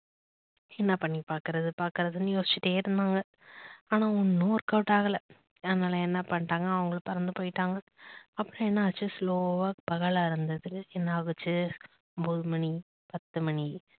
என்ன பண்ணி பாக்குறது பாக்குறதுன்னு யோசிச்சுட்டே இருந்தாங்க ஆனா ஒன்னும் workout ஆகல அதுனால என்னா பண்ணிட்டாங்க அவங்க பறந்து போயிட்டாங்க அப்புறம் என்னாச்சு slow வா பகல்ல என்ன ஆச்சு ஒன்பது மணி பத்து மணி